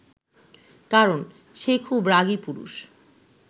কারণ সে খুব রাগী পুরুষ